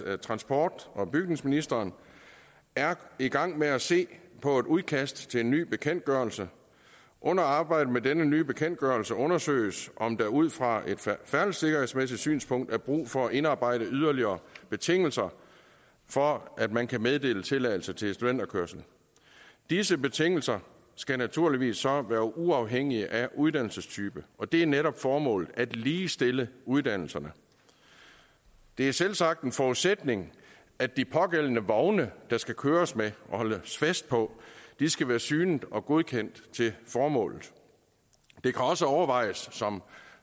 at transport og bygningsministeren er i gang med at se på et udkast til en ny bekendtgørelse under arbejdet med denne nye bekendtgørelse undersøges om der ud fra et færdselssikkerhedsmæssigt synspunkt er brug for at indarbejde yderligere betingelser for at man kan meddele tilladelse til studenterkørsel disse betingelser skal naturligvis så være uafhængige af uddannelsestype og det er netop formålet at ligestille uddannelserne det er selvsagt en forudsætning at de pågældende vogne der skal køres med og holdes fest på skal være synet og godkendt til formålet det kan også overvejes som